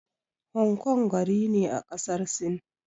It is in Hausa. Hang Kong gari ne a ƙasar Sin.